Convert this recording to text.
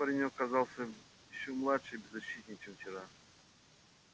сейчас паренёк казался ещё младше и беззащитнее чем вчера